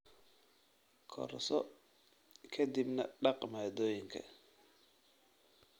Karso ka dibna dhaq maaddooyinka